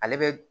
Ale bɛ